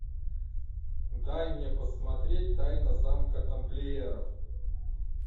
дай мне посмотреть тайна замка тамплиеров